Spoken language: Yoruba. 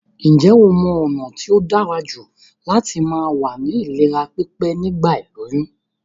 Njé o mo ònà t tóí dárajù láti ma wà ní ìlera pípé nígbà ìlóyún?